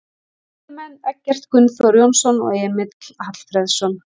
Miðjumenn: Eggert Gunnþór Jónsson og Emil Hallfreðsson